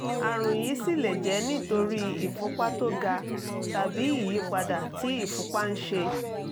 àrùn yìí sì lè jẹ́ nítorí ìfúnpá tó ga tàbí ìyípadà tí ìfúnpá ń ṣe